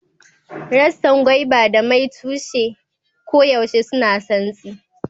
Rassan Gwaiba da mai tushe koyaushe suna santsi